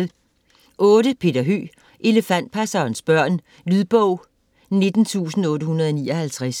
Høeg, Peter: Elefantpassernes børn Lydbog 19859